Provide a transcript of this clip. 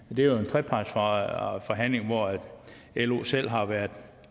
jo en trepartsforhandling hvor lo selv har været